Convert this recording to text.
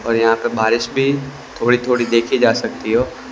और यहां पे बारिश भी थोड़ी थोड़ी देखी जा सकती हो --